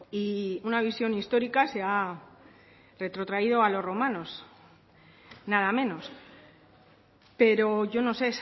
y una visión histórica se ha retrotraído a los romanos nada menos pero yo no sé